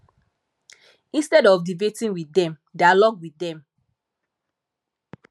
instead of debating with dem dialogue with them